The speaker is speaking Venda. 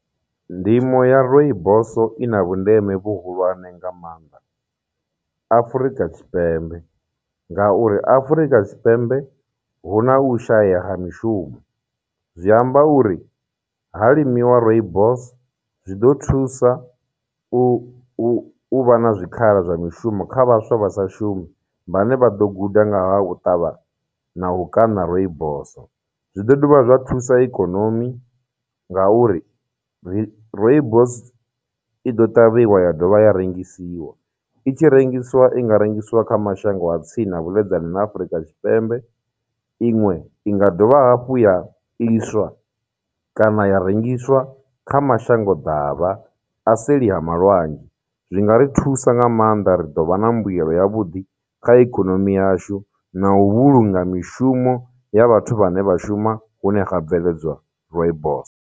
Ndimo ya Rooibos i na vhundeme vhuhulwane nga maanḓa Afurika Tshipembe, ngauri Afurika Tshipembe hu na u shaya ha mishumo, zwi amba uri ha limiwa Rooibos, zwiḓo thusa u u uvha na zwikhala zwa mishumo kha vhaswa vha sa shumi vhane vha ḓo guda nga ha u ṱavha na u kaṋa Rooibos. Zwi ḓo dovha zwa thusa ikonomi ngauri Rooibos i ḓo ṱavhiwa ya dovha ya rengisiwa, i tshi rengisiwa i nga rengisiwa kha mashango a tsini na vhuḽedzani na Afurika Tshipembe, iṅwe inga dovha hafhu ya iswa kana ya rengiswa kha mashango davha a seli ha malwadzhe. Zwi nga ri thusa nga maanḓa, ri ḓo vha na mbuyelo ya vhuḓi kha ikonomi yashu, na u vhulunga mishumo ya vhathu vhane vha shuma hune ha bveledzwa Rooibos.